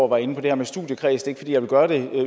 var inde på det her med studiekreds ikke fordi jeg vil gøre det